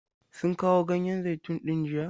Sun kawo ganyen zaitun din jiya?